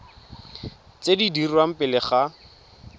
tse di dirwang pele ga